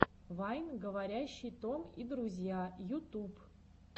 вайн говорящий том и друзья ютуб